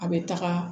A bɛ taga